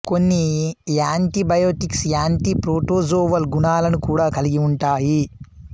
కొన్ని antibiotics anti protozoal గుణాలను కూడా కలిగి ఉంటాయి